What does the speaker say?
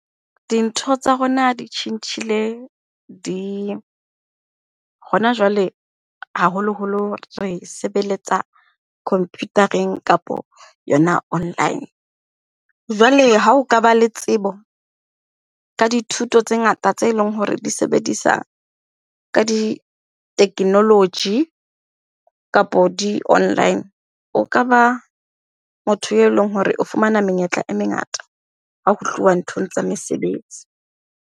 Dintho tsa rona di tjhentjhile di, hona jwale, haholoholo re sebeletsa computer-eng kapo yona online. Jwale ha o ka ba le tsebo ka dithuto tse ngata tse leng hore di sebedisa ka di-technology kapa di-online. O ka ba motho e leng hore o fumana menyetla e mengata ha ho tluwa nthong tsa mesebetsi.